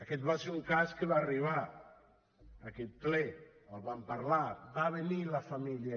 aquest va ser un cas que va arribar a aquest ple en vam parlar va venir la família